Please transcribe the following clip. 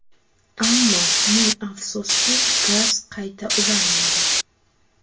Ammo ming afsuski gaz qayta ulanmadi.